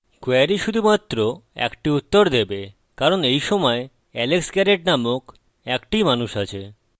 query শুধুমাত্র একটি উত্তর দেবে কারণ এইসময় alex garret নামক একটিই মানুষ আছে